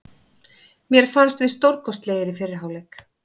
Mér fannst við stórkostlegir í fyrri hálfleik.